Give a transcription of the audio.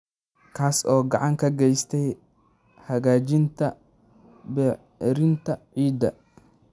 kaas oo gacan ka geysta hagaajinta bacrinta ciidda.